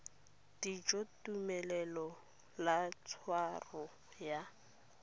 dijo tumelelo ya tshwaro ya